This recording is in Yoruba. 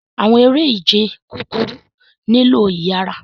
Awọn ere-ije kukuru nilo iyara